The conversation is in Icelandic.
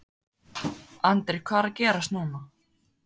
Andri hvað er að gerast núna?